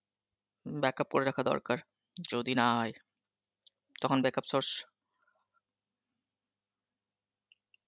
backup করে রাখা দরকার, যদি না হয়ে তখন backup source